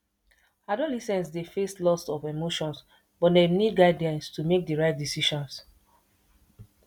adolescents dey face lots of emotions but dem need guidance to make the right decisions